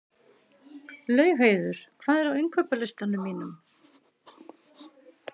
Laugheiður, hvað er á innkaupalistanum mínum?